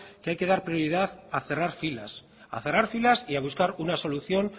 que hay que dar prioridad a cerrar filas a cerrar filas y a buscar una solución